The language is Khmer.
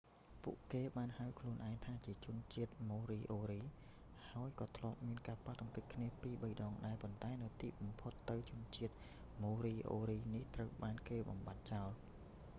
ពួកគេបានហៅខ្លួនឯងថាជាជនជាតិ ម៉ូរីអូរី moriori ហើយក៏ធ្លាប់មានការប៉ះទង្គិចគ្នាពីរបីដងដែរ ប៉ុន្តែនៅទីបំផុតទៅជាជនជាតិ ម៉ូរីអូរីនេះត្រូវបានគេបំបាត់ចោល